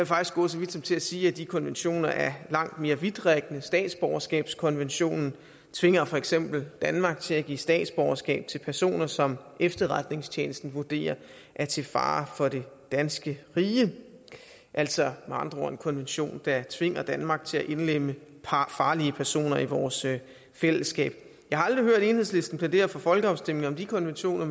faktisk gå så vidt som til at sige at de konventioner er langt mere vidtrækkende statsborgerskabskonventionen tvinger for eksempel danmark til at give statsborgerskab til personer som efterretningstjenesten vurderer er til fare for det danske rige altså med andre ord en konvention der tvinger danmark til at indlemme farlige personer i vores fællesskab jeg har aldrig hørt enhedslisten plædere for folkeafstemninger om de konventioner